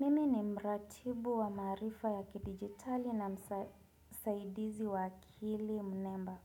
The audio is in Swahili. Mimi ni mratibu wa maarifa ya kidigitali na msaidizi wa akili mnemba.